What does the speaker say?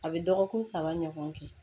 A bɛ dɔgɔkun saba ɲɔgɔn kɛ